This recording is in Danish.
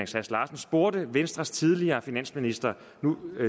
sass larsen spurgte venstres tidligere finansminister